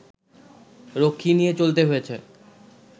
রক্ষী নিয়ে চলতে হয়েছে